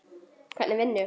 Hvernig vinnu?